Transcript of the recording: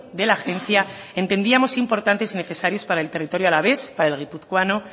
de la agencia entendíamos importantes y necesarios para el territorio alavés para el guipuzcoano